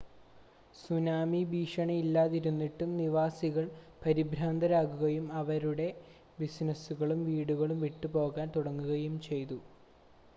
tsunami ഭീഷണി ഇല്ലാതിരുന്നിട്ടും നിവാസികൾ പരിഭ്രാന്തരാകുകയും അവരുടെ ബിസിനസ്സുകളും വീടുകളും വിട്ടുപോവാൻ തുടങ്ങുകയും ചെയ്തു